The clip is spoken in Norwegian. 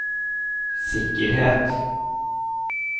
sikkerhet